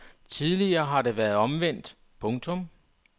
Tidligere har det været omvendt. punktum